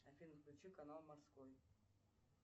афина включи канал морской